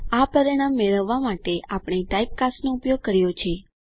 આ પરિણામ મેળવવા માટે આપણે ટાઇપ કાસ્ટનો ઉપયોગ કર્યો છે